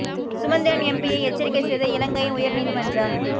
சுமந்திரன் எம்பியை எச்சரிக்கை செய்த இலங்கையின் உயர் நீதி மன்றம்